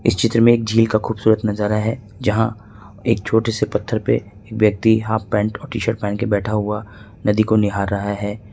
चित्र में झील का खूबसूरत नजारा है जहां एक छोटे से पत्थर पे व्यक्ति हाफ पैंट और टी शर्ट पहन के बैठा हुआ नदी को निहार रहा है।